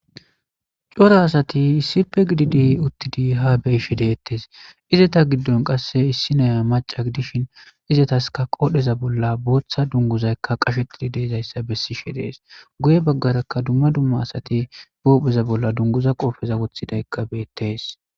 Cora asti issippe gididi uttidi ha beyishe detes izzeta gidon qase issiniya maca gidishin izzetaska qodheza bolla botha dunguza qashetidi de'zaysa besishe dees guye bagara duma duma asati be hupheza dunguza qopeza wothidaysi betes